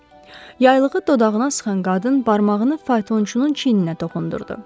Yaylığı dodağına sıxan qadın barmağını faytonçunun çiyininə toxundurdu.